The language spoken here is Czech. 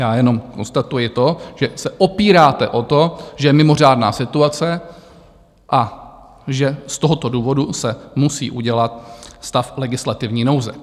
Já jenom konstatuji to, že se opíráte o to, že je mimořádná situace a že z tohoto důvodu se musí udělat stav legislativní nouze.